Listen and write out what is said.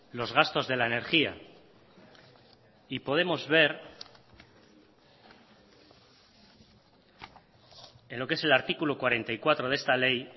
los gastos de la energía y podemos ver en lo que es el artículo cuarenta y cuatro de esta ley